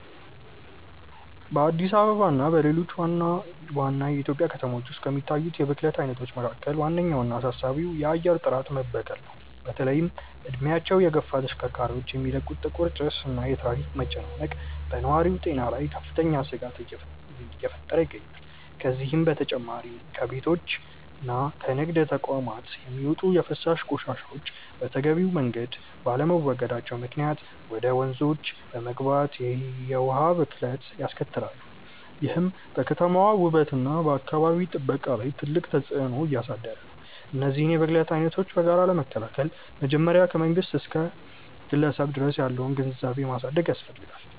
በአዲስ አበባ እና በሌሎች ዋና ዋና የኢትዮጵያ ከተሞች ውስጥ ከሚታዩት የብክለት አይነቶች መካከል ዋነኛውና አሳሳቢው የአየር ጥራት መበከል ነው። በተለይም እድሜያቸው የገፉ ተሽከርካሪዎች የሚለቁት ጥቁር ጭስ እና የትራፊክ መጨናነቅ በነዋሪው ጤና ላይ ከፍተኛ ስጋት እየፈጠረ ይገኛል። ከዚህም በተጨማሪ ከቤቶችና ከንግድ ተቋማት የሚወጡ የፍሳሽ ቆሻሻዎች በተገቢው መንገድ ባለመወገዳቸው ምክንያት ወደ ወንዞች በመግባት የውሃ ብክለትን ያስከትላሉ፤ ይህም በከተማዋ ውበትና በአካባቢ ጥበቃ ላይ ትልቅ ተጽዕኖ እያሳደረ ነው። እነዚህን የብክለት አይነቶች በጋራ ለመከላከል መጀመሪያ ከመንግስት እስከ ግለሰብ ድረስ ያለውን ግንዛቤ ማሳደግ ያስፈልጋል።